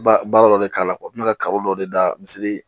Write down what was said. Ba baara dɔ de k'a la n bɛ ka kaba dɔ de da misiri